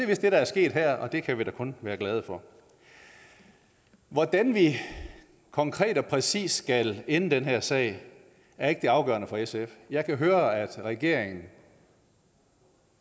vist det der er sket her og det kan vi da kun være glade for hvordan vi konkret og præcis skal ende den her sag er ikke det afgørende for sf jeg kan høre at regeringen